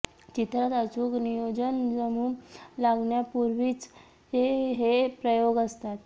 चित्रात अचूक नियोजन जमू लागण्यापूर्वीचे हे प्रयोग असतात